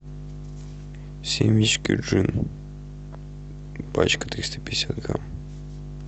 семечки джин пачка триста пятьдесят грамм